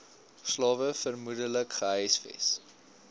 slawe vermoedelik gehuisves